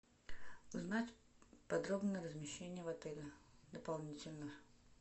узнать подробно размещение в отеле дополнительно